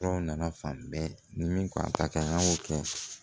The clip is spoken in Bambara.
Tɔw nana fan bɛɛ ni min k'a ta kɛ an y'o kɛ